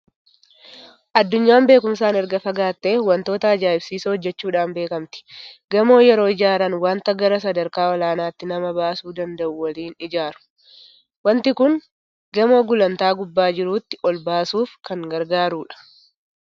Addunyaan beekumsaan erga fagaattee waantota ajaa'ibsiisoo hojjechuudhaan beekamti. Gamoo yeroo ijaaran waanta gara sadarkaa olaanaatti nama baasuu danda'u waliin ijaaru. Waanti kun gamoo gulantaa gubbaa jiruutti ol baasuuf kan gargaarudha.